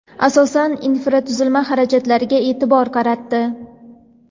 asosan infratuzilma xarajatlariga eʼtibor qaratdi.